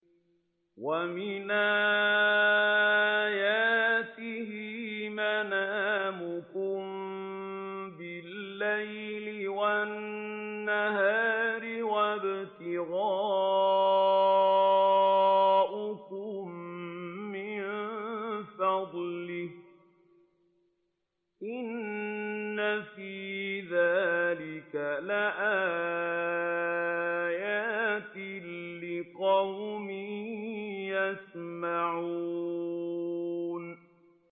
وَمِنْ آيَاتِهِ مَنَامُكُم بِاللَّيْلِ وَالنَّهَارِ وَابْتِغَاؤُكُم مِّن فَضْلِهِ ۚ إِنَّ فِي ذَٰلِكَ لَآيَاتٍ لِّقَوْمٍ يَسْمَعُونَ